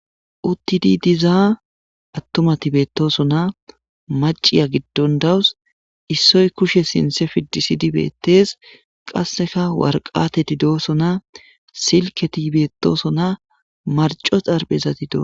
uttidi dizaa attumati beettoso na maciya giddon dawus issoy kushe sinte fidisidi bettes qasseka warqateti dooso na silketi beettooso na marco xarphezati doo